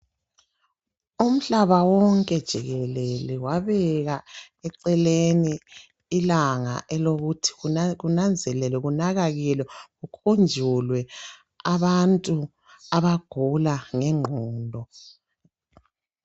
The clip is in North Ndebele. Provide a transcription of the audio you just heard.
Umhlaba wonke jikelele wabeka eceleni ilanga elokuthi kunanzelelwe, kunakalelwe, kukhunjulwe abantu abagula ngenqondo.